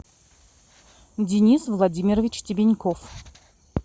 денис владимирович тебеньков